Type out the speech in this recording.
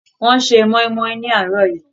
Wọ́n se moinmoin ní àárọ̀ yìí.